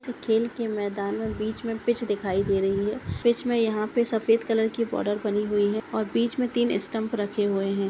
खेल के मैदान में बीच में पिच दिखाई दे रही है पिच में यहाँ पे सफ़ेद कलर की बॉर्डर बनी हुई है और बीच में तीन स्टंप रखे हुए है।